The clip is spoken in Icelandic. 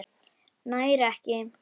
Nær ekki.